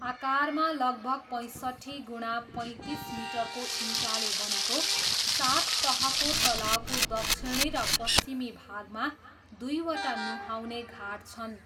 आकारमा लगभग पैँसट्ठी गुणा पैँतिस मिटरको इँटाले बनेको सात तहको तलाउको दक्षिणी र पश्चिमी भागमा दुईवटा नुहाउने घाट छन्।